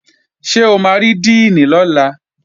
Ṣé o máa rí díìnì lọ́la?